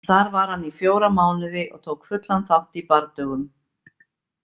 Þar var hann í fjóra mánuði og tók fullan þátt í bardögum.